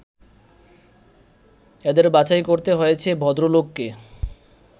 এদের বাছাই করতে হয়েছে ভদ্রলোককে